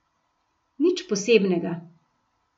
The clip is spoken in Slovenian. Nič posebnega.